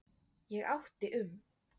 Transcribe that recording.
Ég átti um